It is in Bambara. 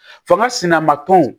Fanga sinama kanw